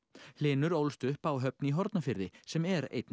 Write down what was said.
hlynur ólst upp á Höfn í Hornafirði sem er einn